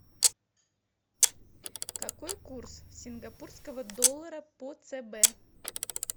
какой курс сингапурского доллара по цб